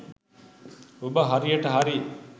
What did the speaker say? ඔබ හරියට හරි